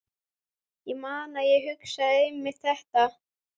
Ég man að ég hugsaði einmitt þetta.